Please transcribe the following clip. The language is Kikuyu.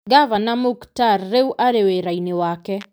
Ngavana Muktar rĩu arĩ wĩra-inĩ wake.